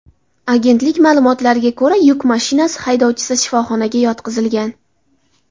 Agentlik ma’lumotlariga ko‘ra, yuk mashinasi haydovchisi shifoxonaga yotqizilgan.